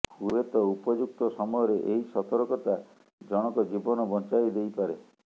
ହୁଏତ ଉପଯୁକ୍ତ ସମୟରେ ଏହି ସତର୍କତା ଜଣଙ୍କ ଜୀବନ ବଞ୍ଚାଇ ଦେଇପାରେ